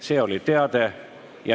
See oli teade.